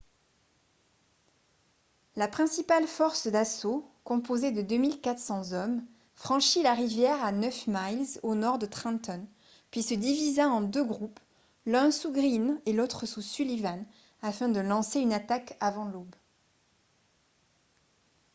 la principale force d'assaut composée de 2 400 hommes franchit la rivière à neuf miles au nord de trenton puis se divisa en deux groupes l'un sous greene et l'autre sous sullivan afin de lancer une attaque avant l'aube